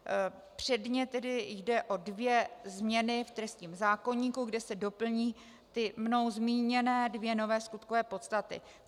Předně tedy jde o dvě změny v trestním zákoníku, kde se doplní ty mnou zmíněné dvě nové skutkové podstaty.